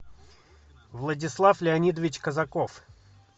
владислав леонидович казаков